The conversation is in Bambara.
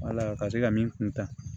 Wala ka se ka min kuntaa